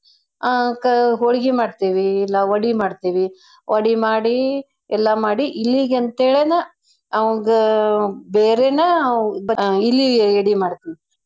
ಅ ಕ~ ಹೋಳ್ಗಿ ಮಾಡ್ತೇವಿ ಇಲ್ಲಾ ವಡಿ ಮಾಡ್ತೇವಿ. ವಡಿ ಮಾಡಿ ಎಲ್ಲಾ ಮಾಡಿ ಇಲಿಗಂತೆಳೆನ ಅವ್ಂಗ ಬೇರೇನ ಅವ್~ ಇಲಿಗೆ ಎಡೆ ಮಾಡ್ತೀವ್.